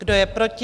Kdo je proti?